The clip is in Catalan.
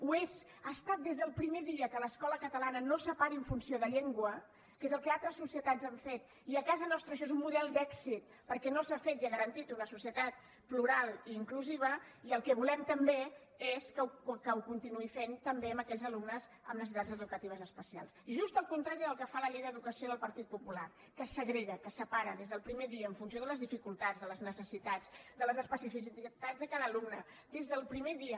ho és ho ha estat des del primer dia que l’escola catalana no separi en funció de llengua que és el que altres societat han fet i a casa nostra això és un model d’èxit perquè no s’ha fet i ha garantit una societat plural i inclusiva i el que volem també és que ho continuï fent també amb aquells alumnes amb necessitats educatives especials just el contrari del que fa la llei d’educació del partit popular que segrega que separa des del primer dia en funció de les dificultats de les necessitats de les especificitats de cada alumne des del primer dia